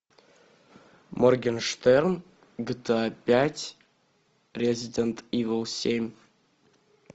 моргенштерн гта пять резидент ивел семь